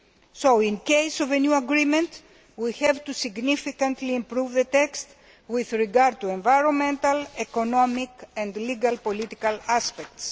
So in the case of any agreement, we have to significantly improve the text with regard to environmental, economic and legal political aspects.